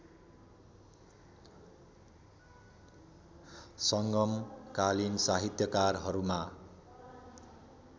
संगमकालीन साहित्यकारहरूमा